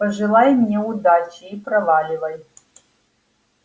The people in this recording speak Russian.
пожелай мне удачи и проваливай